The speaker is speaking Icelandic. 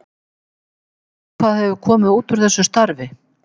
Veist þú hvað hefur komið úr úr þessu starfi?